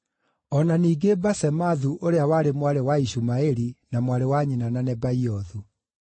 o na ningĩ Basemathu ũrĩa warĩ mwarĩ wa Ishumaeli na mwarĩ wa nyina na Nebaiothu.